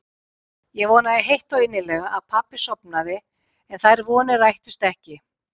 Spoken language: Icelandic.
Ég vonaði heitt og innilega að pabbi sofnaði en þær vonir rættust ekki.